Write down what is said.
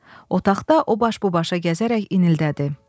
Otaqda o baş bu başa gəzərək inildədi.